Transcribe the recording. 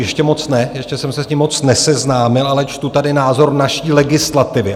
Ještě moc ne, ještě jsem se s tím moc neseznámil, ale čtu tady názor naší legislativy.